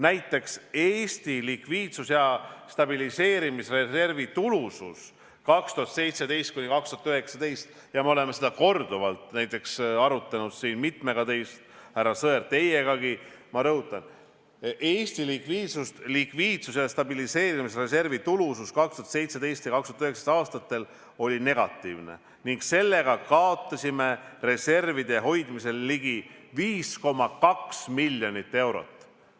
Näiteks, Eesti likviidsus- ja stabiliseerimisreservi tulusus 2017–2019 oli negatiivne ning sellega kaotasime reservide hoidmisel ligi 5,2 miljonit eurot.